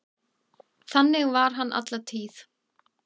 Þannig var hann alla tíð.